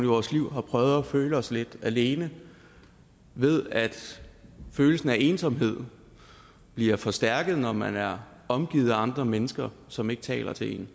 vores liv har prøvet at føle os lidt alene ved at følelsen af ensomhed bliver forstærket når man er omgivet af andre mennesker som ikke taler til en